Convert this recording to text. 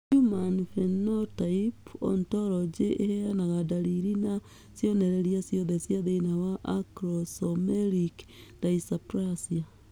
Human Phenotype Ontology ĩheanaga ndariri na cionereria ciothe cia thĩna wa Acromesomelic dysplasia.